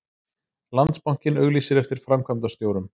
Landsbankinn auglýsir eftir framkvæmdastjórum